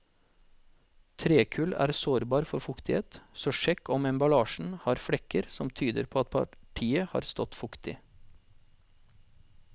Trekull er sårbar for fuktighet, så sjekk om emballasjen har flekker som tyder på at partiet har stått fuktig.